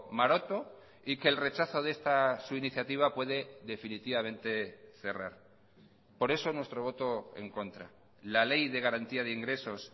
maroto y que el rechazo de esta su iniciativa puede definitivamente cerrar por eso nuestro voto en contra la ley de garantía de ingresos